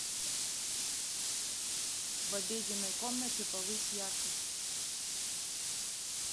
в обеденной комнате повысь яркость